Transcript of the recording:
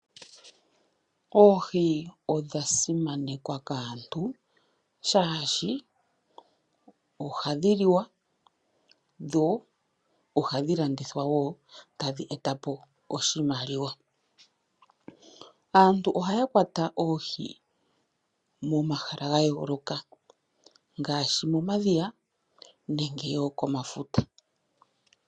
Oohi odhasimanekwa kaantu shaashi ohadhi liwa , dho ohadhi landithwapo woo etadhi etapo oshimaliwa. Aantu ohaya kwata oohi momahala gayooloka ngaashi momadhiya oshowo momafuta.